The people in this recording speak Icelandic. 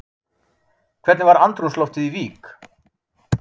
Hvernig var andrúmsloftið í Vík?